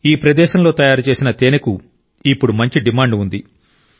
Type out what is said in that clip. ఈ ప్రదేశంలో తయారుచేసిన తేనెకు ఇప్పుడు మంచి డిమాండ్ ఉంది